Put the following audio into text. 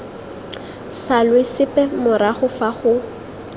salwe sepe morago fa go